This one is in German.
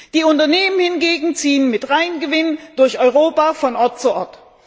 Die Unternehmen hingegen ziehen mit Reingewinn durch Europa von Ort zu Ort.